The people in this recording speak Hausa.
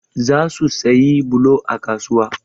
Za su sayi bulo a kasuwa.